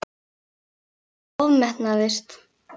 Hann ofmetnaðist.